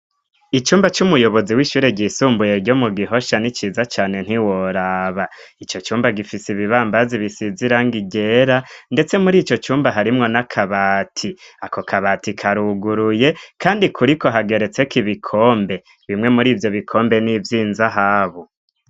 Icumba cy'umuyobozi w'ishure ryisumbuye ryo mu gihoshya n'iciza cyane ntiworaba icyo cumba gifise ibibambazi bisizirangigera ndetse muri icyo cyumba harimwo na kabati ako kabati karuguruye kandi kuri ko hageretse ko ibikombe bimwe muri ibyo bikombe n'ivyinzahabu.